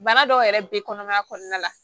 Bana dɔw yɛrɛ bɛ kɔnɔmaya kɔnɔna la